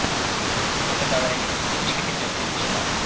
Fotogalereya: Ishga ketayotgan kishilar.